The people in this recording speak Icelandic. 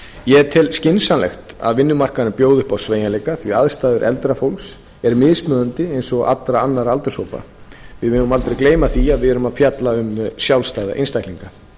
ég tel skynsamlegt að vinnumarkaðurinn bjóði upp á sveigjanleika því aðstæður eldra fólks eru mismunandi eins og allra annarra aldurshópa við megum aldrei gleyma því að við erum að fjalla um sjálfstæða einstaklinga